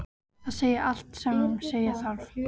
Það segir allt sem segja þarf.